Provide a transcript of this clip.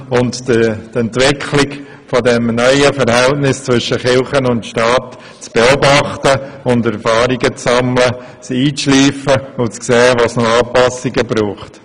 Wir wollen die Entwicklung des neuen Verhältnisses zwischen Kirche und Staat beobachten und sehen, wo es noch Anpassungen braucht.